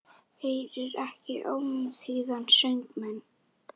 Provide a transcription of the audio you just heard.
Heyrir ekki ómþýðan söng minn.